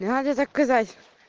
надо заказать